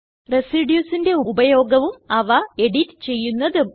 Residuesന്റെ ഉപയോഗവും അവ എഡിറ്റ് ചെയ്യുന്നതും